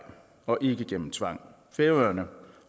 og ikke gennem tvang færøerne